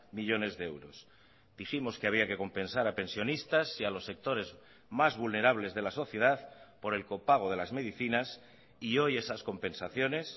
millónes de euros dijimos que había que compensar a pensionistas y a los sectores más vulnerables de la sociedad por el copago de las medicinas y hoy esas compensaciones